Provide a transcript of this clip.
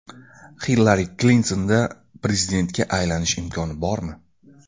Hillari Klintonda prezidentga aylanish imkoni bormi?.